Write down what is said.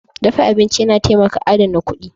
Dafa abinci yana taimaka adana kuɗi.